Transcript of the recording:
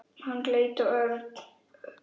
Hann leit á Örn.